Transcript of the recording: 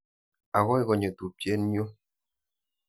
Akoi konyo tupchet nyu.